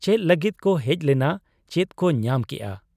ᱪᱮᱫ ᱞᱟᱹᱜᱤᱫ ᱠᱚ ᱦᱮᱡ ᱞᱮᱱᱟ ᱪᱮᱫᱠᱚ ᱧᱟᱢ ᱠᱮᱜ ᱟ ᱾